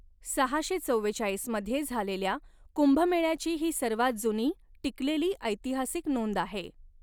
सहाशे चव्वेचाळीस मध्ये झालेल्या कुंभमेळ्याची ही सर्वात जुनी टिकलेली ऐतिहासिक नोंद आहे.